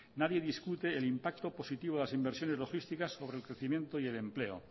nadie discute el impacto positivo de las inversiones logísticas sobre el crecimiento y el empleo